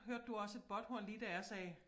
Hørte du også et båthorn lige da jeg sagde